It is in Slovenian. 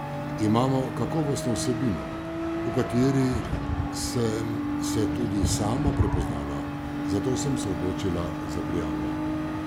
Imamo kakovostno vsebino, v kateri sem se tudi sama prepoznala, zato sem se odločila za prijavo.